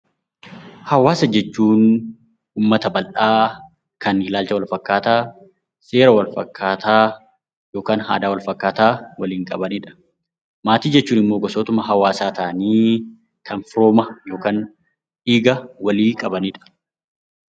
Hawaasa jechuun uummata bal'aa kan ilaalcha wal fakkaataa, seera wal fakkaataa yookaan aadaa wal fakkaataa waliin qabani dha. Maatii jechuun immoo gosootuma hawaasaa ta'anii kan firooma yookaan dhiiga walii qabani dha.